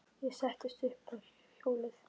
Ég settist upp á hjólið.